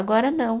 Agora, não.